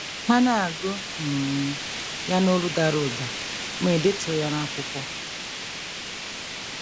Ha na - agụ um ya n’olu dara ụda, mụ edetuo ya n’akwụkwọ.